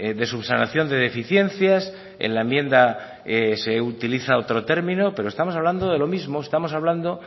de subsanación de deficiencias en la enmienda se utiliza otro termino pero estamos hablando de lo mismo estamos hablando